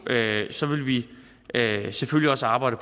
vi selvfølgelig også arbejde